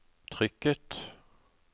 trykket